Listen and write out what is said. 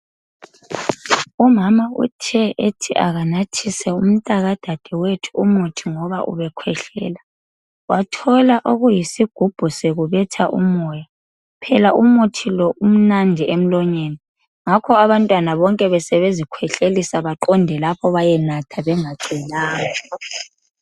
Umama uthe ethi akanathise umntaka dadewethu umuthi ngoba ubekhwehlela wathola okuyisigubhu sekubetha umoya phela umuthi lo umnandi emlonyeni ngakho abantwana bonke besebezikhwehlelisa baqonde lapho bayenatha bengacelanga